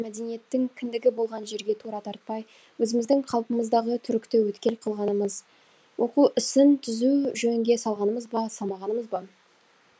мәдениеттің кіндігі болған жерге тура тартпай өзіміздің қалпымыздағы түрікті өткел қылғанымыз оқу ісін түзу жөнге салғанымыз ба салмағанымыз ба